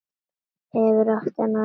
Hefurðu átt þennan lengi?